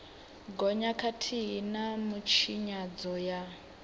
gonya khathihi na mitshinyadzo ya